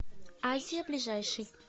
азия ближайший